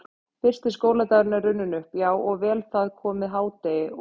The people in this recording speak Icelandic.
Fyrsti skóladagur er runninn upp, já og vel það, komið hádegi og